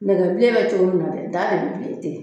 Nɛgɛ bilen bɛ cogo min na dɛ, daa de bɛ bilen ten.